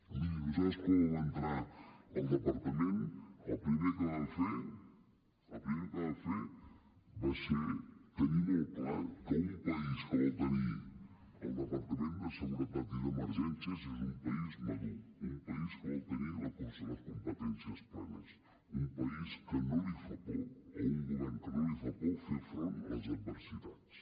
miri nosaltres quan vam entrar al departament el primer que vam fer el primer que vam fer va ser tenir molt clar que un país que vol tenir el departament de seguretat i d’emergències és un país madur un país que vol tenir les competències plenes un país que no li fa por o un govern que no li fa por fer front a les adversitats